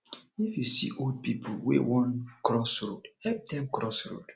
if you see old pipo wey won cross road help dem cross road